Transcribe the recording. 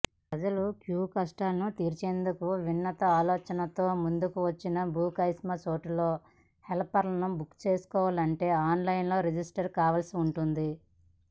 ప్రజల క్యూకష్టాలను తీర్చేందుకు వినూత్న ఆలోచనతో ముందుకొచ్చిన బుక్మై చోటులో హెల్పర్ను బుక్ చేసుకోవాలంటే ఆన్లైన్లో రిజిస్టర్ కావాల్సి ఉంటుంది